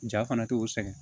Ja fana t'o sɛgɛn